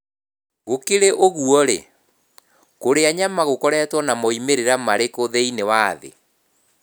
Gũkĩrĩ ũguo-rĩ, kũrĩa nyama gũkoretwo na moimĩrĩro marĩkũ thĩinĩ wa thĩ?